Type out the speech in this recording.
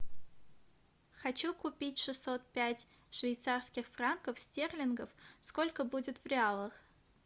хочу купить шестьсот пять швейцарских франков стерлингов сколько будет в реалах